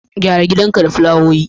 Gyara gidanka da fulawowi.